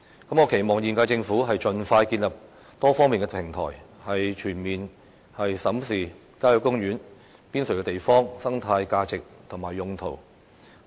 我期望現屆政府盡快建立多方面的平台，全面審視郊野公園邊陲地方的生態價值及用途。